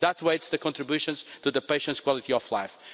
That weights the contributions to the patients' quality of life.